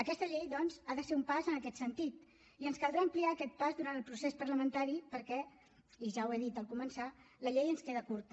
aquesta llei doncs ha de ser un pas en aquest sentit i ens caldrà ampliar aquest pas durant el procés parlamentari perquè i ja ho he dit al començar la llei ens queda curta